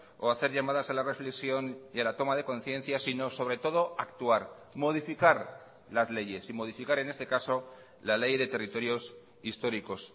o hacer llamadas a la reflexión y a la toma de conciencia sino sobre todo actuar modificar las leyes y modificar en este caso la ley de territorios históricos